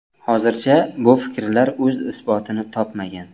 Hozircha bu fikrlar o‘z isbotini topmagan.